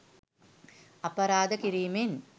අපරාධ කිරීමෙන්